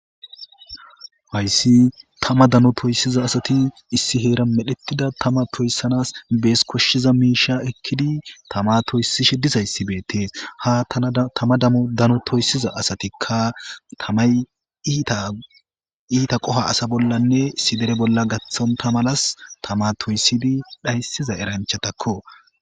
hayssi tama dano toyssiza asati issi heera medhettida tama toyssanas bees koshshiza miisha ekkidi tama toysi shedisayssibeetee ha tama damu dano toysiza asatikka tamay iita iita qoha asa bollanne isi dere bolla gaththonta malas tama toysidi dhayssiza eranchatakko